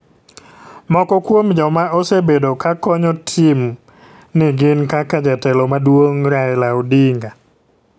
Moko kuom joma osebedo ka konyo tim ni gin kaka Jatelo maduong' Raila odinga.